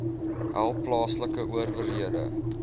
help plaaslike owerhede